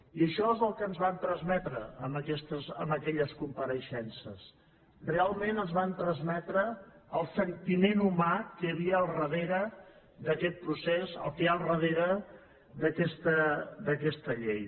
i això és el que ens van transmetre amb aquelles compareixences realment ens van transmetre el sentiment humà que hi havia al darrere d’aquest procés el que hi ha al darrere d’aquesta llei